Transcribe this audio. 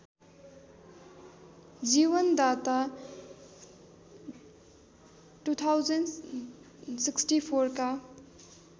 जीवनदाता २०६४ का